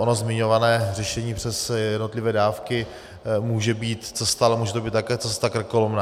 Ono zmiňované řešení přes jednotlivé dávky může být cesta, ale může to být také cesta krkolomná.